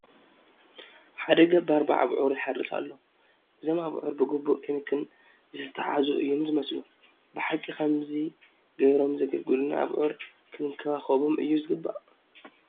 ሓደ ገባር ብኣብዑር ይሓርስ ኣሎ፡፡ እዞም ኣብዑር ብግቡእ ክንክን ዝተታሕዙ እዮም ዝመስሉ፡፡ ብሓቂ ከምዚ ገይሮም ንዘገልግሉና ኣብዑር ክንከባኸቦም እዩ ዝግብአና፡፡